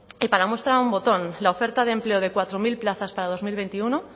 y para muestra un botón la oferta de empleo de cuatro mil plazas para dos mil veintiuno